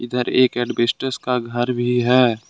इधर एक एल्वेस्टर का घर भी है।